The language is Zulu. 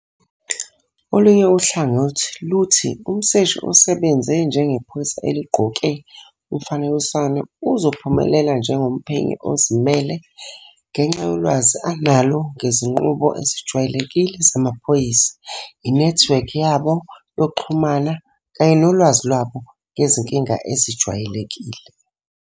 Olunye uhlangothi luthi umseshi osebenze njengephoyisa eligqoke umfaniswano uzophumelela njengomphenyi ozimele ngenxa yolwazi analo ngezinqubo ezijwayelekile zamaphoyisa, inethiwekhi yabo yokuxhumana kanye nolwazi lwabo ngezinkinga ezijwayelekile.